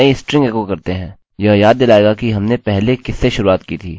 अब यदि हम अपनी नई स्ट्रिंग एको करते हैं